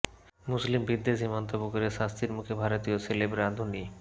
মুসলিম বিদ্বেষী মন্তব্য করে শাস্তির মুখে ভারতীয় সেলেব রাঁধুনি